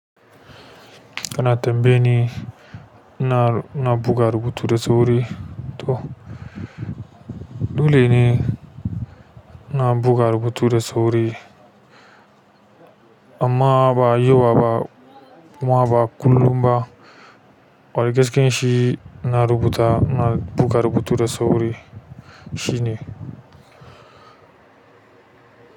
Kana tambaye ni, ina, ina buga rubutu da sauri? To dole ne ina buga rubutu da sauri amma ba yau ba kuma ba kullum ba. Wani gaskiyan shi na rubuta, na buga rubutu da sauri shine.